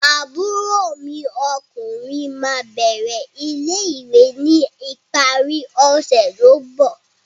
Àbúrò mi ọkùnrin ma bẹrẹ ilé-ìwé ni ìparí ọsẹ ti o mbọ.